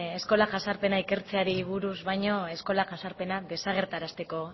eskola jazarpena ikertzeari buruz baino eskola jazarpena desagerrarazteko